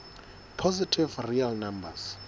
positive real numbers